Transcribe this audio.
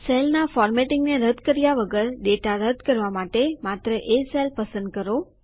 સેલના ફોર્મેટિંગને રદ કર્યા વગર ડેટા રદ કરવા માટે માત્ર એ સેલ પસંદ કરો